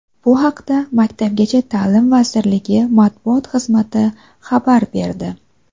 Bu haqda Maktabgacha ta’lim vazirligi matbuot xizmati xabar berdi.